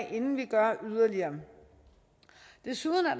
af inden vi gør yderligere desuden er